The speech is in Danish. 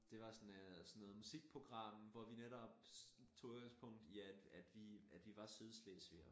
Det var sådan noget sådan noget musikprogram hvor vi netop tog udgangspunkt i at at vi at vi var sydslesvigere